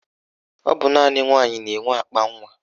Ọ bụ naanị nwaanyị na-enwe akpanwa